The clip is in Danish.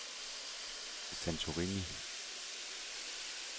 Santorini